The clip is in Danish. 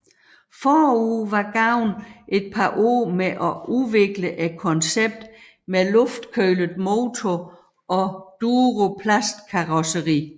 Forud var gået et par år med at udvikle konceptet med Luftkølet motor og Duroplastkarosseri